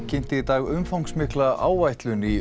kynnti í dag umfangsmikla áætlun í